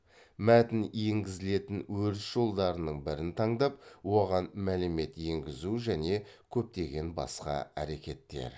мәтін енгізілетін өріс жолдарының бірін таңдап оған мәлімет енгізу және көптеген басқа әрекеттер